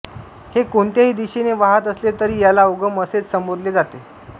हे कोणत्याही दिशेने वाहत असले तरी याला उगम असेच संबोधले जाते